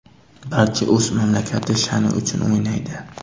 Barcha o‘z mamlakati sha’ni uchun o‘ynaydi.